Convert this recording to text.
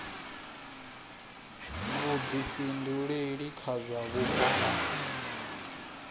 vhuḓifhinduleli kha zwa vhupo a